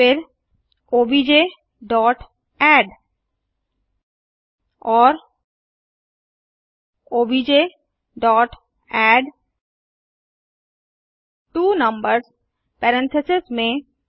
फिरObjadd और objएडट्वोनंबर्स पेरेंथीसेस में